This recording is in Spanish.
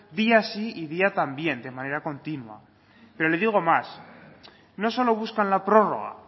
día sí y día también de manera continua pero le digo más no solo buscan la prórroga